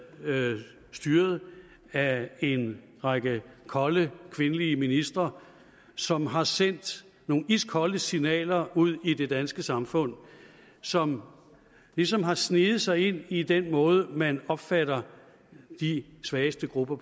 styret af en række kolde kvindelige ministre som har sendt nogle iskolde signaler ud i det danske samfund som ligesom har sneget sig ind i den måde man opfatter de svageste grupper